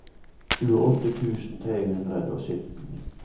tjueåtte tusen tre hundre og sytten